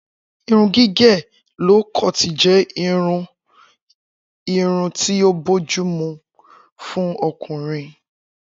Irun gígè ló koọ̀tì jé irú irun tí o bójúmu fún okùnrin